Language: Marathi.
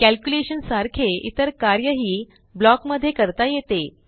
कॅल्क्युलेशन सारखे इतर कार्यही ब्लॉक मधे करता येते